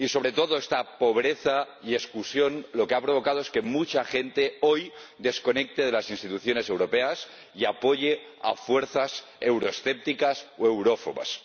Y sobre todo, esta pobreza y exclusión, lo que ha provocado es que mucha gente hoy desconecte de las instituciones europeas y apoye a fuerzas euroescépticas o eurófobas.